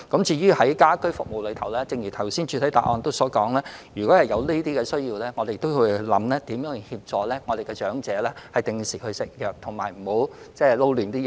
至於家居服務方面，正如主體答覆所述，如果有這方面的需要，我們會研究如何協助長者定時服藥及不要混淆需要服用的藥物。